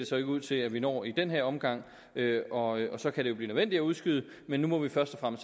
så ikke ud til at vi når i den her omgang og så kan det jo blive nødvendigt at udskyde det men nu må vi først og